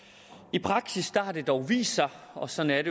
i praksis har det dog vist sig og sådan er